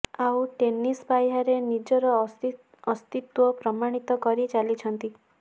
ଆଉ ଟେନିସ୍ ପାହ୍ୟାରେ ନିଜର ଅସ୍ତିତ୍ୱ ପ୍ରମାଣିତ କରି ଚାଲିଛନ୍ତି